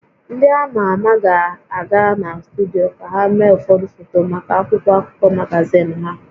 Ndị a ma ama ga-aga na studio ka ha mee ụfọdụ foto maka akwụkwọ akụkọ magazin ha